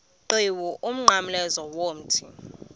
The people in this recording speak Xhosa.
qhiwu umnqamlezo womthi